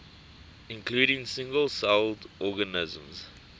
including single celled organisms